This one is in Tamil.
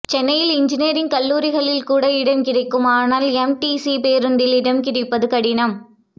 சென்னையில் இன்ஜினியரிங் கல்லூரிகளில் கூட இடம் கிடக்கும் ஆனால் எம்டிசி பேருந்தில் இடம் கிடைப்பது கடினம்